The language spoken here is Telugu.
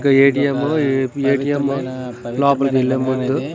ఇక్కడ ఏ_టి_ఎం ఏ_టీ_ఎం లోపలికి వెళ్లే ముందు--